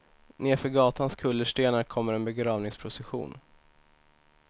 Nedför gatans kullerstenar kommer en begravningsprocession.